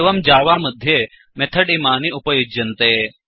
एवं जावा मध्ये मेथड् इमानि अपयुञ्जन्ति